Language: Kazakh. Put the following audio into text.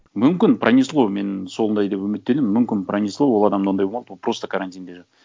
мүмкін пронесло мен сондай деп үміттенемін мүмкін пронесло ол адамда ондай болмады ол просто карантинде жатты